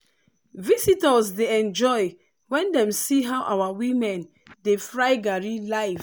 visitors dey enjoy when dem see how our women dey fry garri live.